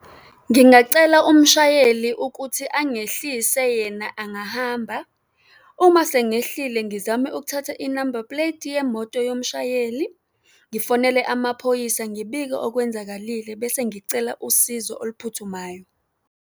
Ngingacela umshayeli ukuthi angehlise, yena angahamba. Uma sengehlile, ngizame ukuthatha inamba puleti yemoto yomshayeli, ngifonele amaphoyisa, ngibike okwenzakalile bese ngicela usizo oluphuthumayo.